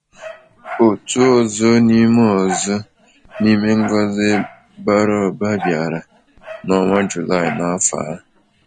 Otu ọzọ n’ime ọzọ n’ime ngọzi bara ụba bịara n’ọnwa July n’afọ ahụ.